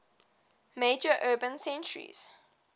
major urban centres